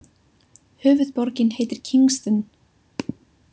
Höfuðborgin heitir Kingston.